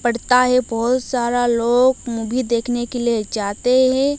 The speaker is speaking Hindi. पड़ता है बहोत सारा लोग मूवी देखने के लिए जाते हैं।